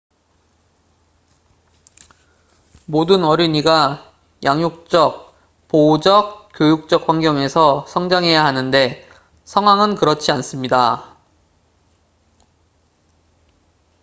모든 어린이가 양육적 보호적 교육적 환경에서 성장해야 하는데 상황은 그렇지 않습니다